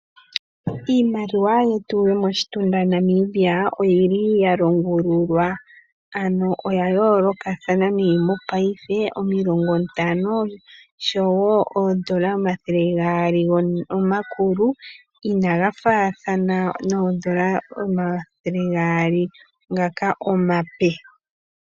Iimaliwa yetu yomoshitunda Namibia oyili ya longululwa ano oya yoolokathana. Mo paife omilongo ntano oshowo oondola omathele gaali omakulu inaga faathana noondola omathele gaali ngaka omape.